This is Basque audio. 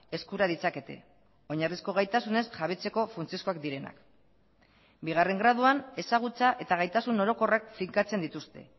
eskura ditzakete oinarrizko gaitasunez jabetzeko funtsezkoak direnak bigarren graduan ezagutza eta gaitasun orokorrak finkatzen dituzte